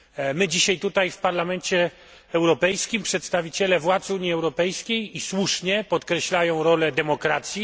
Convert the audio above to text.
My dzisiaj tutaj, w Parlamencie Europejskim przedstawiciele władz Unii Europejskiej słusznie podkreślamy rolę demokracji.